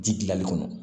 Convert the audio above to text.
Ji dilanli kɔnɔ